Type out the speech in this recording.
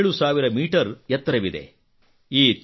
ಸುಮಾರು 7000 ಮೀಟರ್ ಎತ್ತರವಿದೆ